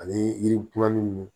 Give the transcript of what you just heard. Ani yiri kumanin